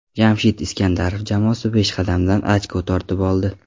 Jamshid Iskandarov jamoasi peshqadamdan ochko tortib oldi.